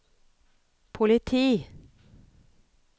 politi